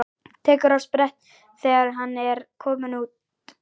Tekur á sprett þegar hann er kominn út.